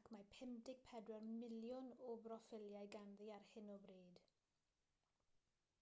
ac mae 54 miliwn o broffiliau ganddi ar hyn o bryd